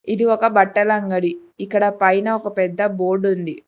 ఇది ఒక బట్టల అంగడి ఇక్కడ పైన ఒక పెద్ద బోర్డు ఉంది.